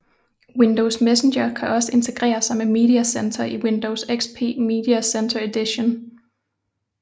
Windows Messenger kan også integrere sig med Media Center i Windows XP Media Center Edition